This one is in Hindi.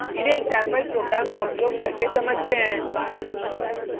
इन्हें एक सेम्पल प्रोग्राम का उपयोग करके समझते हैं